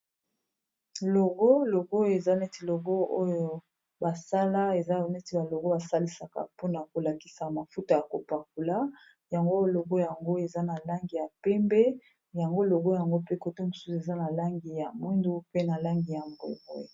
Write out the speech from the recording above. Logo, logo eza neti logo oyo basala eza neti ba logo ba salisaka mpona kolakisa mafuta ya kopakola yango logo yango eza na langi ya pembe, yango logo yango pe koto mosusu eza na langi ya mwindu, pe na langi ya mbwe.